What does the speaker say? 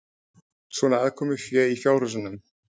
Svona aðkomufé í fjárhúsunum?